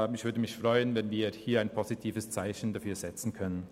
Ich würde mich freuen, wenn wir hier ein positives Zeichen setzen könnten.